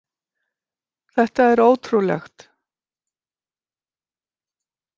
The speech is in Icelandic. Þetta er ótrúlegt